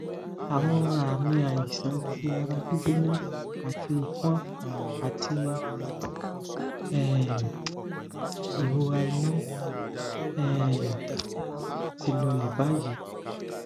awon ami aisan ti ara gbigbona ati ifon ati um irora inu um ti lole bayi